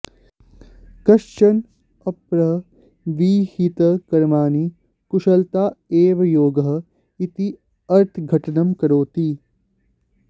कश्चन अपरः विहितकर्माणि कुशलता एव योगः इति अर्थघटनं करोति